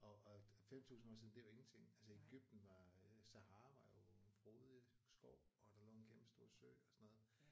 Og og 5000 år siden det er jo ingenting altså Egypten var øh Sahara var jo frodig skov og der lå en kæmpe stor sø og sådan noget